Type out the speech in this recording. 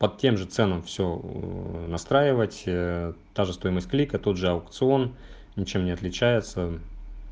под тем же ценам все ээ настраивать та же стоимость клика тот же аукцион ничем не отличается